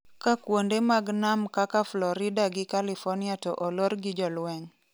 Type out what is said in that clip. ka kuonde mag nam kaka Florida gi california to olor gi jolweny